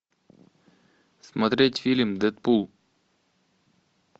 смотреть фильм дэдпул